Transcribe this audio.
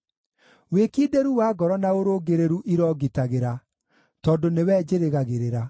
Wĩkindĩru wa ngoro na ũrũngĩrĩru irongitagĩra, tondũ nĩwe njĩrĩgagĩrĩra.